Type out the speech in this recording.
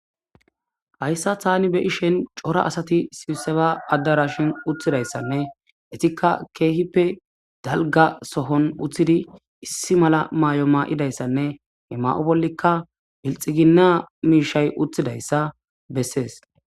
Hayisa tani be'ishen cora asati sibseba addarashin uthidayssanne etikka keehippe dalga sohon uthidi issi mala maayo maa'idayssanne he ma'o bollikka pilxiginna miishay uthidayssa bessees